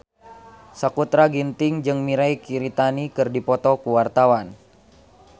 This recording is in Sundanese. Sakutra Ginting jeung Mirei Kiritani keur dipoto ku wartawan